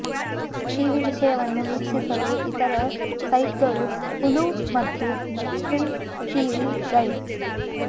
TV ವಿಷಯವನ್ನು ವೀಕ್ಷಿಸಲು ಇತರ ಸೈಟ್ಗಳು ಹುಲು ಮತ್ತು ಸ್ಟ್ರೀಮ್ ಟಿವಿ ಗೈಡ್